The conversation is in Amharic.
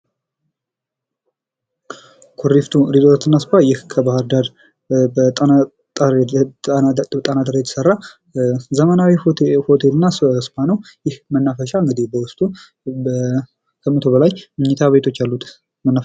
ኩሪፍቶ ሪዞርትና እስፓ ይህ ከባህር ዳር ጣና ዳር የተሰራ ዘመናዊ ሆቴል እና እስፓ ነው። ይህ መናፈሻ እንግዲህ በውስጡ ከመቶ በላይ መኝታ ቤቶች አሉት መናፈ...